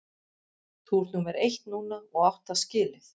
Þú ert númer eitt núna og átt það skilið.